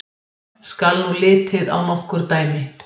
Skal nú litið á nokkur dæmi.